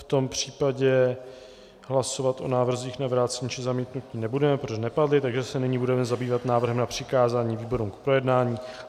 V tom případě hlasovat o návrzích na vrácení či zamítnutí nebudeme, protože nepadly, takže se nyní budeme zabývat návrhem na přikázání výborům k projednání.